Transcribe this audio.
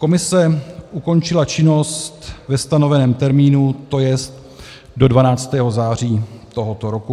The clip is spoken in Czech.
Komise ukončila činnost ve stanoveném termínu, to jest do 12. září tohoto roku.